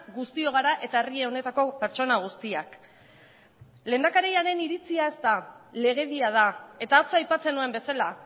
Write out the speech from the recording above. guztiok gara eta herri honetako pertsona guztiak lehendakariaren iritzia ez da legedia da eta atzo aipatzen nuen bezala